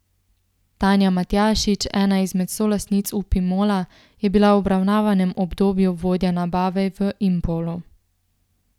Tanja Matjašič, ena izmed solastnic Upimola, je bila v obravnavanem obdobju vodja nabave v Impolu.